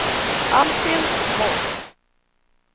Alfhild Von